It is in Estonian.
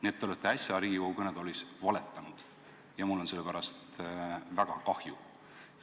Nii et te olete äsja Riigikogu kõnetoolis valetanud ja mul on selle pärast väga kahju.